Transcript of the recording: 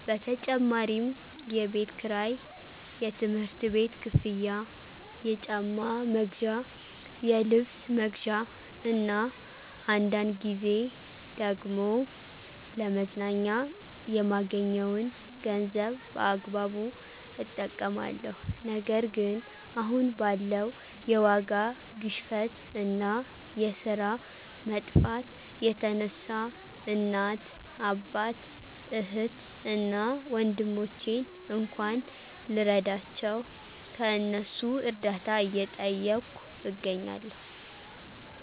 በተጨማሪም የቤት ክራይ፣ የትምህርት ቤት ክፍያ፣ የጫማ መግዣ፣ የልብስ መግዣ እና አንዳንድ ጊዜ ደግሞ ለመዝናኛ የማገኘዉን ገንዘብ በአግባቡ እጠቀማለሁ። ነገር ግን አሁን ባለው የዋጋ ግሽፈት እና የስራ መጥፋት የተነሳ እናት፣ አባት፣ እህት እና ወንድሞቼን እንኳን ልረዳቸው ከእነሱ እርዳታ እየጠየኩ እገኛለሁ።